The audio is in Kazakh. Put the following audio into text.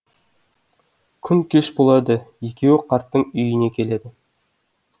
күн кеш болады екеуі қарттың үйіне келеді